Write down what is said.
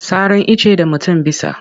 Saran icce da mutum bisa.